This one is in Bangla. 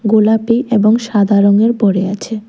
গোলাপী এবং সাদা রঙের পড়ে আছে।